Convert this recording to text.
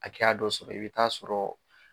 Hakɛya dɔ sɔrɔ i bɛ taa sɔrɔ